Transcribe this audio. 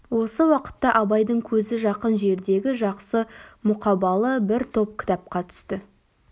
осы уақытта абайдың көзі жақын жердегі жақсы мұқабалы бір топ кітапқа түсті